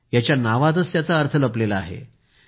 याच्या नावातच याचा अर्थ लपलेला आहे